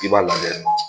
I b'a lajɛ